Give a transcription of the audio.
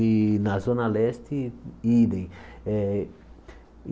E na Zona Leste, idem. Eh